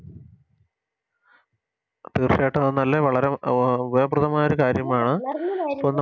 തീർച്ചയായിട്ടും അത് വളരെ നല്ല ഉപയോഗപ്രദമായ കാര്യമാണ്